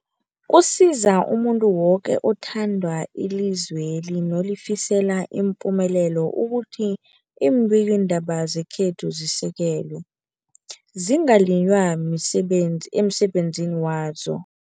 Kusiza umuntu woke othanda ilizweli nolifisela ipumelelo ukuthi iimbikiindaba zekhethu zisekelwe, zingaliywa emsebenz emsebenzini wazo.